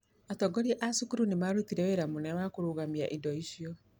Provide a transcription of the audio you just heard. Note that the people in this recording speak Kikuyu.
Atongoria a cukuru nĩ maarutire wĩra mũnene wa kũrũgamia indo icio.